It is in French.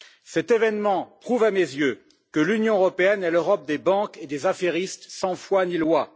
Cet événement prouve à mes yeux que l'Union européenne est l'Europe des banques et des affairistes sans foi ni loi.